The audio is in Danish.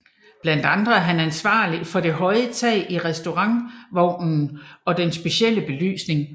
Blandt andre er han ansvarlig for det høje tag i restaurantvognen og den specielle belysning